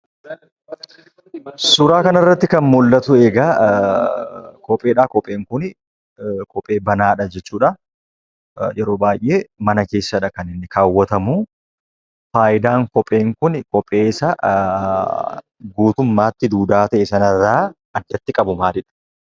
Suuraa kanarratti kan mul'atu egaa kopheedhaa. Kopheen kuni kophee banaadha jechuudha. Yeroo baay'ee mana keessadha kan inni kaawwatamuu. Faayidaan kopheen kuni kophee isa guutummaatti duudaa ta'e sanarraa addatti qabu maalidha?